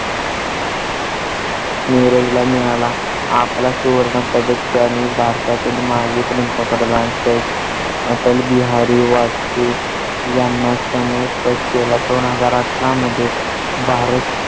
नीरज ला मिळाला आपला सुवर्ण पदक आणि भारता चे माजी पंतप्रधान अटल बिहारी वाजपेयी यांना समर्पित केला. दोन हजार अठरा मध्ये भारत